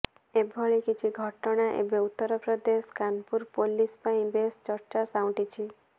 ଏଭଳି କିଛି ଘଟଣା ଏବେ ଉତ୍ତରପ୍ରଦେଶ କାନପୁର ପୋଲିସ୍ ପାଇଁ ବେଶ ଚର୍ଚ୍ଚା ସାଉଁଟିଛି